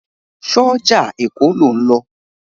Ṣé ọjà Èkó lò ń lọ?